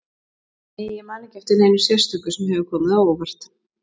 Nei ég man ekki eftir neinu sérstöku sem hefur komið á óvart.